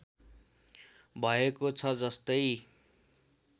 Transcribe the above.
भएको छ जस्तै